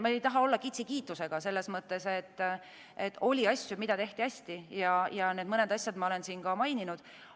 Ma ei taha olla kiitusega kitsi selles mõttes, et oli asju, mida tehti hästi, ja neid asju olen ma siin maininud.